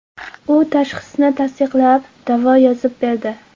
U tashxisni tasdiqlab, davo yozib berdi.